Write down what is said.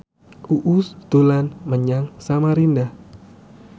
Uus dolan menyang Samarinda